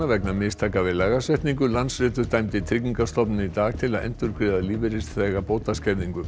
vegna mistaka við lagasetningu Landsréttur dæmdi Tryggingastofnun í dag til að endurgreiða lífeyrisþega